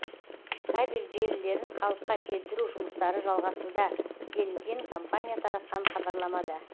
кабель желілерін қалыпқа келтіру жұмыстары жалғасуда делінген компания таратқан хабарламада